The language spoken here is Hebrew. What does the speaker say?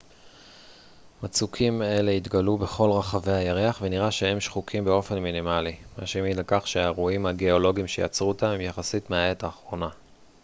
מצוקים אלה התגלו בכל רחבי הירח ונראה שהם שחוקים באופן מינימלי מה שמעיד על כך שהאירועים הגאולוגיים שיצרו אותם הם יחסית מהעת האחרונה